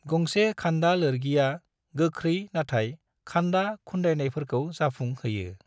गंसे खान्दा लोरगिया गोख्रै नाथाय खान्दा खुन्दायनायफोरखौ जाफुं होयो।